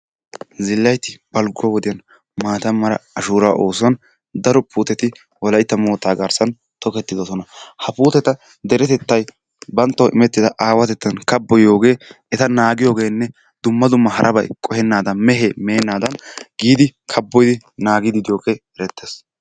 Zilaaytti baligo wodiyan maata mala ashuraa oosuwan daro puuteti wolaytta motta garsani toketidosinna. Ha puuteta derettetay banttawu immettidaa aawattetan kaboyiyogge ettaa nagiyige dumma dumma haarabay qohenadan, mehe menadanni giddi kaboyiddi de'iyogee erettes.